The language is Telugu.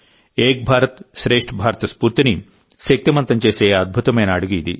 ఏక్ భారత్శ్రేష్ఠ భారత్ స్ఫూర్తిని శక్తిమంతం చేసే అద్భుతమైన అడుగు ఇది